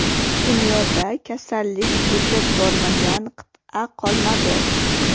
Dunyoda kasallik yetib bormagan qit’a qolmadi.